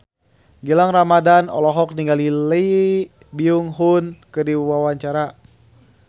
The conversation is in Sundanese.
Gilang Ramadan olohok ningali Lee Byung Hun keur diwawancara